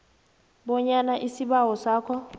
bonyana isibawo sakho